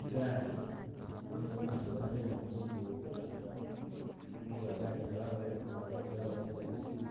I gali nenga mumaso batelemo gugubo gutandalafu, nenga i gali yene babuweleko madote babuwele musipi,